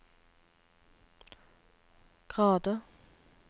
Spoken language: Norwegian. grader